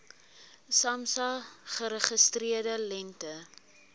samsa geregistreerde lengte